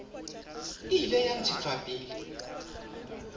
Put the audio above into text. e ile ya ntshetswa pele